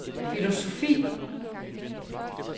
filosofi